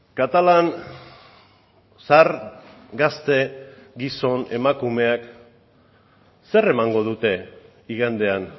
katalan zahar gazte gizon emakumeak zer emango dute igandean